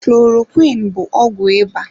Klorokwiin bụ ọgwụ ịba.